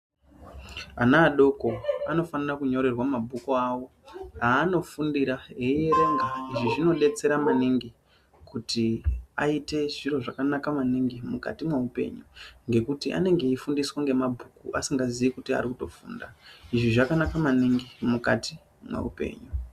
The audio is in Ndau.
Ana adoko anofanira kunyorerwa mabhuku awo anofundira eierenga. Izvi zvinodetsera maningi kuti aite zviro zvakanaka maningi mukati mweupenyu ngekuti anenge eifundiswa ngemabhuku asingazii kuti arikutofunda. Izvi zvakanaka maningi mukati mweupenyu.